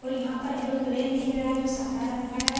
और यहाँ पर एरोप्लेन दिख रहा हैं जो साधा रंग का हैं --